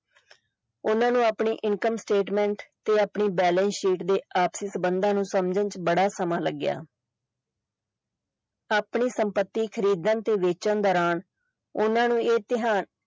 ਓਹਨਾ ਨੂੰ ਆਪਣੀ income statement ਤੇ ਆਪਣੀ balance sheet ਦੇ ਆਖਰੀ ਸੰਬੰਧਾਂ ਨੂੰ ਸਮਝਣ ਚ ਬੜਾ ਸਮਾਂ ਲੱਗਿਆ ਆਪਣੀ ਸੰਪੱਤੀ ਖਰੀਦਣ ਤੇ ਸਮਝਣ ਦੌਰਾਨ ਓਹਨਾ ਨੂੰ ਇਹ